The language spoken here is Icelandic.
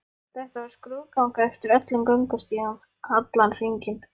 Þetta var skrúðganga eftir öllum göngustígnum, allan hringinn.